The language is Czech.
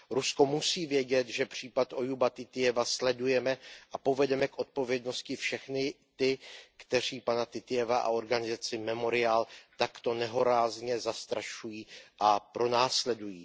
Rusko musí vědět, že případ Ojuba Titijeva sledujeme a povedeme k odpovědnosti všechny ty, kteří pana Titijeva a organizaci Memoriál takto nehorázně zastrašují a pronásledují.